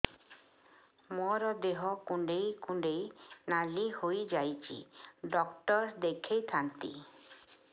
ମୋର ଦେହ କୁଣ୍ଡେଇ କୁଣ୍ଡେଇ ନାଲି ହୋଇଯାଉଛି ଡକ୍ଟର ଦେଖାଇ ଥାଆନ୍ତି